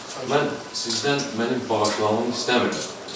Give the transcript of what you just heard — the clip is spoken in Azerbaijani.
Mən sizdən mənim bağışlanmağımı istəmirəm.